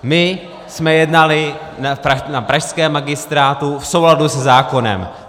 My jsme jednali na pražském magistrátu v souladu se zákonem.